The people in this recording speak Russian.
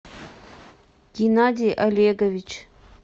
геннадий олегович